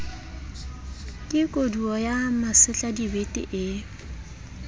ke kodua ya masetladibete ee